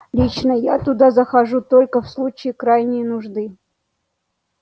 лично я туда захожу только в случае крайней нужды